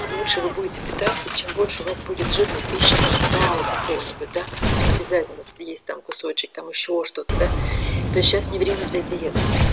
лучше вы будете питаться чем больше у вас будет жирной пищи там сала какого-нибудь да обязательно если есть там кусочек там ещё что-то да то есть сейчас не время для диеты